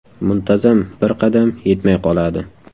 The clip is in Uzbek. Muntazam bir qadam yetmay qoladi.